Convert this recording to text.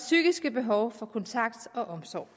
psykiske behov for kontakt og omsorg